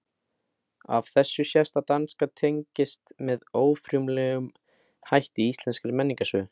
Af þessu sést að danska tengist með órjúfanlegum hætti íslenskri menningarsögu.